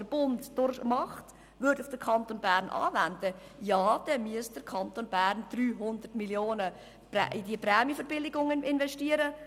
Wenn man den Mechanismus des Bundes auf den Kanton Bern anwenden würde, dann müsste der Kanton Bern 300 Mio. Franken in diese Prämienverbilligungen investieren.